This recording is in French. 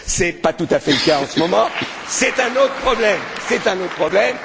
Ce n'est pas tout à fait le cas en ce moment mais c'est un autre problème.